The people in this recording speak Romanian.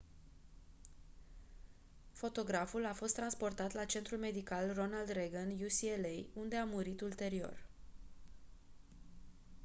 fotograful a fost transportat la centrul medical ronald reagan ucla unde a murit ulterior